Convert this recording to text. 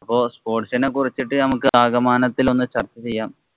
അപ്പൊ sports ഇനെ കുറിച്ചിട്ടു നമുക്ക് ആകമാനത്തില്‍ ഒന്ന് ചര്‍ച്ച ചെയ്യാം.